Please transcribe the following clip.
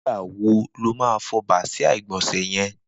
Nigbá wó ló mà fọ bàsiá igbọnsẹ̀ yẹ̀n?